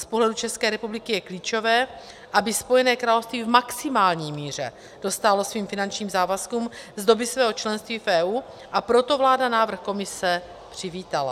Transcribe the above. Z pohledu České republiky je klíčové, aby Spojené království v maximální míře dostálo svým finančním závazkům z doby svého členství v EU, a proto vláda návrh Komise přivítala.